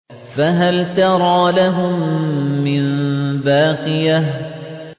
فَهَلْ تَرَىٰ لَهُم مِّن بَاقِيَةٍ